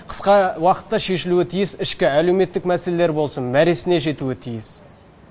қысқа уақытта шешілуі тиіс ішкі әлеуметтік мәселелер болсын мәресіне жетуі тиіс